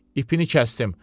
İpini kəsdim.